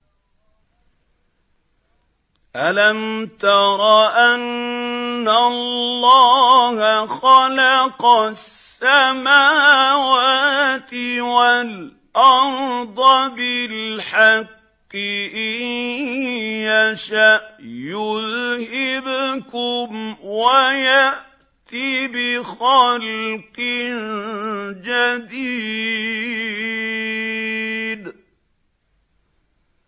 أَلَمْ تَرَ أَنَّ اللَّهَ خَلَقَ السَّمَاوَاتِ وَالْأَرْضَ بِالْحَقِّ ۚ إِن يَشَأْ يُذْهِبْكُمْ وَيَأْتِ بِخَلْقٍ جَدِيدٍ